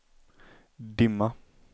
dimma